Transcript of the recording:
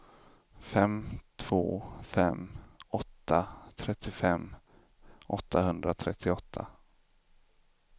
fem två fem åtta trettiofem åttahundratrettioåtta